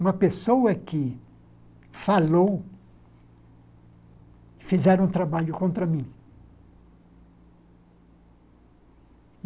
uma pessoa que falou, fizeram um trabalho contra mim.